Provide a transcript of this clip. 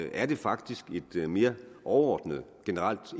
er det faktisk et mere overordnet generelt